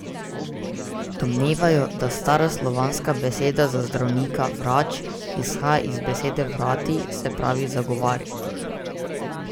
Domnevajo, da stara slovanska beseda za zdravnika, vrač, izhaja iz besede vrati, se pravi zagovarjati.